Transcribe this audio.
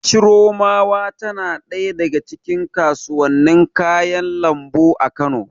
Chiromawa tana ɗaya daga cikin kasuwannin kayan lambu a Kano.